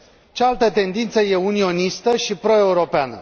Cealaltă tendință e unionistă și pro europeană.